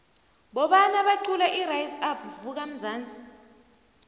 bobani obaqula irise up vuka mnzansi